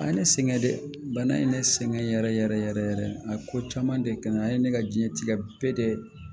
A ye ne sɛgɛn dɛ bana in ye ne sɛgɛn yɛrɛ yɛrɛ a ko caman de kɛ nga a ye ne ka diɲɛtigɛ bɛɛ de